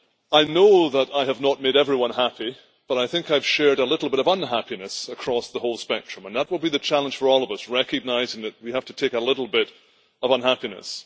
I know that I have not made everyone happy but I think I have shared a little bit of unhappiness across the whole spectrum, and that will be the challenge for all of us recognising that we have to take a little bit of unhappiness.